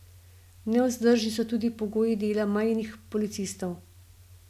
Nevzdržni so tudi pogoji dela mejnih policistov.